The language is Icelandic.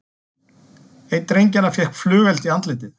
Einn drengjanna fékk flugeld í andlitið